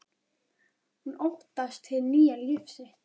Hún óttast hið nýja líf sitt.